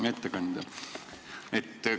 Hea ettekandja!